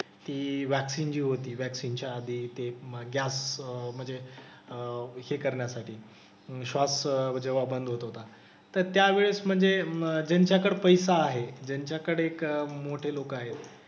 कि व्हॅक्सिन जी होती व्हॅक्सिन च्या आधी ते गॅप मधे अह हे करण्यासाठी शॉप्स जेव्हा बंद होत होता. तर त्यावेळेस म्हणजे ज्यांच्याकडं पैसा आहे, ज्यांच्याकडं एक मोठे लोकं आहेत,